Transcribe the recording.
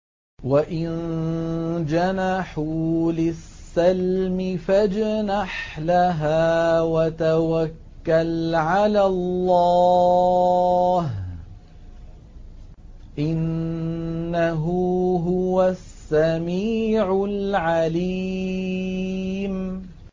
۞ وَإِن جَنَحُوا لِلسَّلْمِ فَاجْنَحْ لَهَا وَتَوَكَّلْ عَلَى اللَّهِ ۚ إِنَّهُ هُوَ السَّمِيعُ الْعَلِيمُ